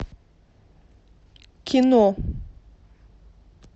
кино